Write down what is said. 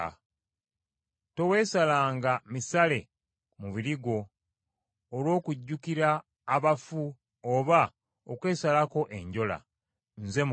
“Toweesalanga misale ku mubiri gwo olw’okujjukira abaafa oba okwesalako enjola. Nze Mukama .